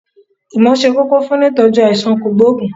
ìmọ̀ se kókó funìitọ́jú aisan kogboogun